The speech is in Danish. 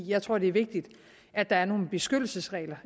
jeg tror det er vigtigt at der er nogle beskyttelsesregler